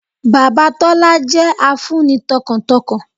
Bàbá Tólá jẹ́ a fun ni tọkàntọkàn